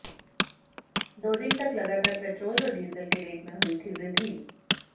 दो दिन तक लगातार पेट्रोल और डीजल के रेट में हुई थी वृद्धि